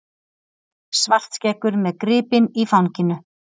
Svartskeggur með gripinn í fanginu.